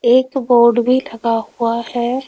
एक बोर्ड भी लगा हुआ है।